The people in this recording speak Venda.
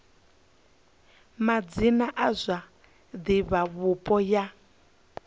madzina a zwa divhavhupo ya